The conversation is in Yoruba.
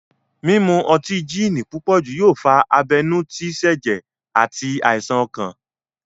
Mímu ọtí gini púpòjù yóò fa abenú tí sẹ̀jẹ̀ àti àìsàn ọkàn